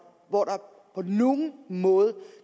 på nogen måde